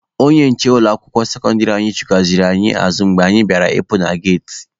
Onye nche ụlọ akwụkwọ sekọndịrị anyị chụghachiri anyị azụ mgbe anyị bịara ịpụ na geti.